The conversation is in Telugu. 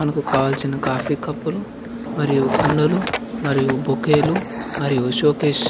మనకి కావాల్సిన కాఫీ కప్పులు మరియు కుండలు మరియు బొక్కేలు మరియు షో కేస్ --